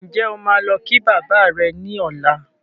Ǹjẹ́ o máa lọ kí bàbá rẹ ní ọlá?